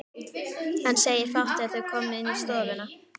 Hann segir fátt þegar þau koma inn í stofuna.